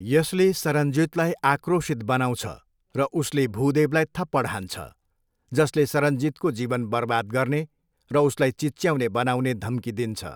यसले सरनजितलाई आक्रोशित बनाउँछ र उसले भुदेवलाई थप्पड हान्छ, जसले सरनजितको जीवन बर्बाद गर्ने र उसलाई चिच्याउने बनाउने धम्की दिन्छ।